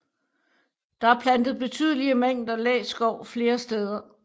Der er plantet betydelige mængder læskov flere steder